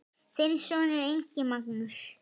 Þinn sonur, Ingi Magnús.